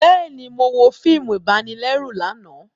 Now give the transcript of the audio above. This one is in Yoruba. Bẹẹni, Mo wo fíìmù ibanilẹru lànà